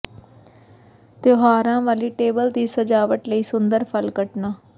ਤਿਉਹਾਰਾਂ ਵਾਲੀ ਟੇਬਲ ਦੀ ਸਜਾਵਟ ਲਈ ਸੁੰਦਰ ਫਲ ਕੱਟਣਾ